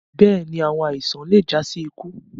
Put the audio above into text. Bẹ́ẹ̀ni, awọn aisan le ja si iku